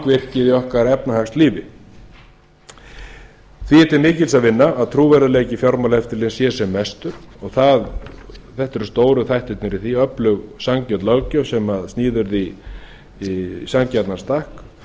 í okkar efnahagslífi því er til mikils að vinna að trúverðugleiki fjármálaeftirlitsins sé sem mestur og þetta eru stóru þættirnir í því að öflug sanngjörn löggjöf sem sniðin verði í sanngjarnan stakk